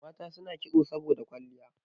Mata suna kitso saboda kwalliya